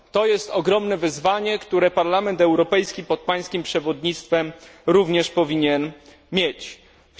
To jest ogromne wyzwanie, które Parlament Europejski pod Pańskim przewodnictwem również powinien sobie stawiać.